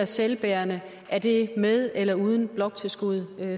selvbærende er det med eller uden bloktilskud